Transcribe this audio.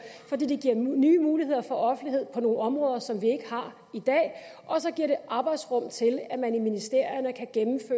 fordi det giver nye muligheder for offentlighed på nogle områder som vi ikke har i dag og så giver det arbejdsrum til at man i ministerierne kan